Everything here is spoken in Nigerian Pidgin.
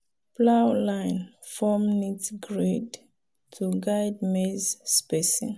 plow line form neat grid to guide maize spacing.